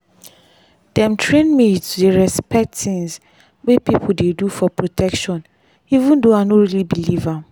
dem train me to dey respect tins wey people dey do for protection even though i no really believe am.